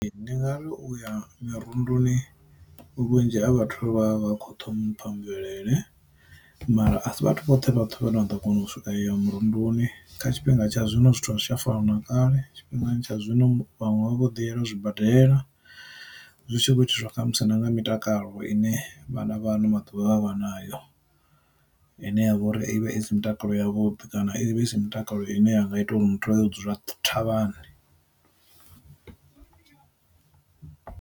Ndi ngari uya mirunduni vhunzhi ha vhathu vha vha kho ṱhompha mvelele, mara a si vhathu vhoṱhe vhathu vha ne a ḓo kona u ya murunduni kha tshifhinga tsha zwino zwithu zwi a fana na kale tshifhingani tsha zwino vhaṅwe vha vho ḓi yela zwibadela, zwi tshi khou itiswa kha musi na nga mitakalo ine vhana vha ano maḓuvha vha nayo, i ne ya vha uri ivha isi mutakalo yavhuḓi kana i vha isi mitakalo ine ya nga ita uri muthu a ḓo dzula thavhani.